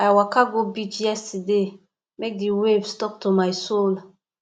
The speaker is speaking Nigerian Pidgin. i waka go beach yesterday make di waves tok to my soul